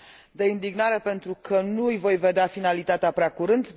De indignare, pentru că nu îi voi vedea finalitatea prea curând